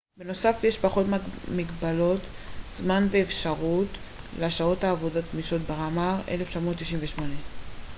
בנוסף יש פחות מגבלות זמן ואפשרות לשעות עבודה גמישות. ברמר 1998